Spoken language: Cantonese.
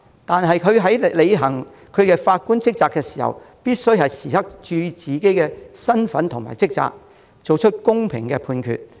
但法官在履行職責時，必須注意自己的身份和職責，作出公平判決。